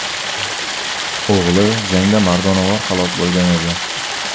O‘g‘li jangda mardonavor halok bo‘lgan edi.